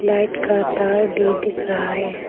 Light का तार भी दिख रहा है।